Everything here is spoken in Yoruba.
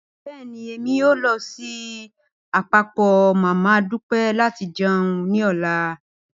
Bẹẹni, Emi yoo lọ si apapọ mama Dupe lati jẹun ni ọla.